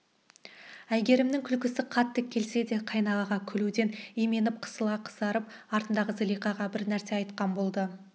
әйгерімнің күлкісі қатты келсе де қайнағаға күлуден именіп қысыла қызарып артындағы зылиқаға бір нәрсе айтқан болады